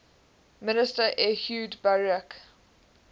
minister ehud barak